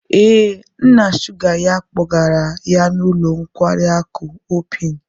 Ee, nna sugar ya kpọgara ya n'ụlọ nkwari akụ hope-in.